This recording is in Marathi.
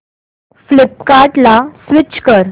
फ्लिपकार्टं ला स्विच कर